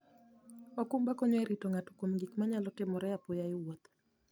okumba konyo e rito ng'ato kuom gik manyalo timore apoya e wuoth.